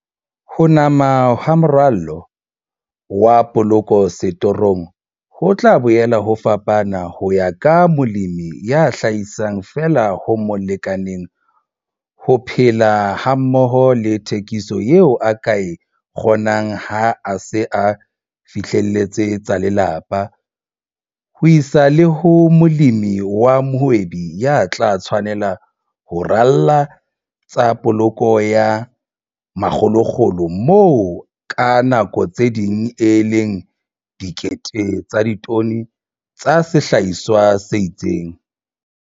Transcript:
Ho nama ha moralo wa poloko setorong ho tla boela ho fapana ho ya ka molemi ya hlahisang feela ho mo lekaneng ho phela hammoho le thekiso eo a ka e kgonang ha a se a fihlelletse tsa lelapa ho isa le ho molemi wa mohwebi ya tla tshwanela ho rala tsa poloko ya makgolokgolo moo ka nako tse ding e leng dikete tsa ditone tsa sehlahiswa se itseng.